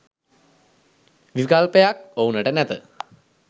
විකල්පයක් ඔවුනට නැත